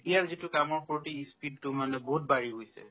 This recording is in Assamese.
এতিয়াৰ যিটো কামৰ প্ৰতি ই speed তো matlab বহুত বাঢ়ি গৈছে